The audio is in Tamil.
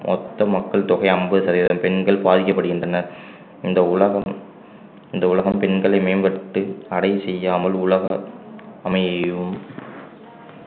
மொத்த மக்கள் தொகை ஐம்பது சதவீதம் பெண்கள் பாதிக்கப்படுகின்றனர் இந்த உலகம் இந்த உலகம் பெண்களை மேம்படுத்த அடை செய்யாமல் உலகம் அமையவும்